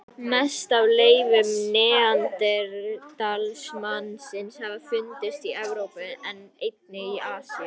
Mest af leifum neanderdalsmannsins hafa fundist í Evrópu en einnig í Asíu.